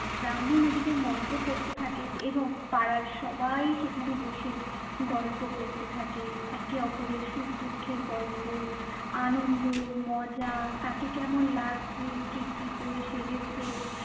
ব্রাহ্মণ ওদিকে মন্ত্র পড়তে থাকে এবং পাড়ার সবাই সেখানে বসে গল্প করতে থাকে একে ওপরের সুখ দুঃখের গল্প, আনন্দ, মজা, কাকে কেমন লাগছে, কে কি পরে সেজেছে,